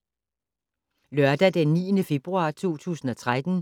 Lørdag d. 9. februar 2013